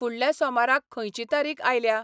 फुडल्या सोमाराक खंयची तारीख आयल्या?